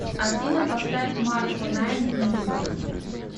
афина поставь марко найн медуза